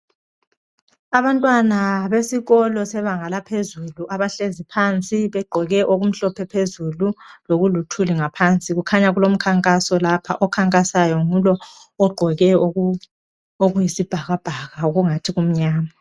Abantwana besikolo sebanga bahlezi phansi begqoke okumhlophe phezulu lokuluthuli ngaphansi. Kukhanya kulomkhankaso lapha, okhankasayo ngulo ogqoke okuyisibhakabhaka okungathi kumnyama.